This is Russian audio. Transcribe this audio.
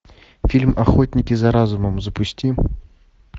фильм охотники за разумом запусти